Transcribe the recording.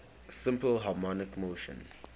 simple harmonic motion